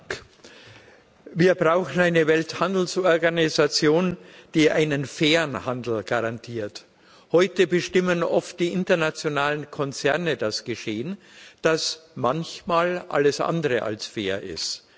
Herr Präsident! Wir brauchen eine Welthandelsorganisation, die einen fairen Handel garantiert. Heute bestimmen oft die internationalen Konzerne das Geschehen, das manchmal alles andere als fair ist.